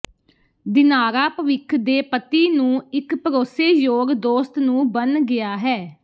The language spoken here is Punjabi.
ਦਿਨਾਰਾ ਭਵਿੱਖ ਦੇ ਪਤੀ ਨੂੰ ਇੱਕ ਭਰੋਸੇਯੋਗ ਦੋਸਤ ਨੂੰ ਬਣ ਗਿਆ ਹੈ